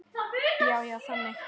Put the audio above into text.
Já, já, þannig.